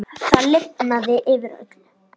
Það lifnaði yfir öllu.